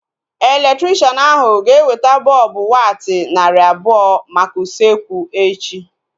Elektrikshan ahu ga-eweta bọlbụ watti narị abụọ maka usekwu echi